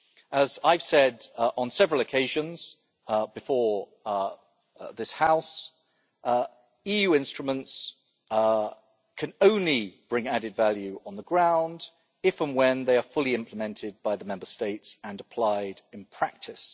As I have said on several occasions before this House, EU instruments can only bring added value on the ground, if and when they are fully implemented by the Member States and applied in practice.